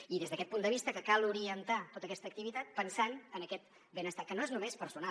i des d’aquest punt de vista que cal orientar tota aquesta activitat pensant en aquest benestar que no és només personal